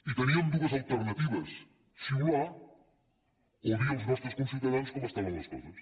i teníem dues alternatives xiular o dir als nostres conciutadans com estaven les coses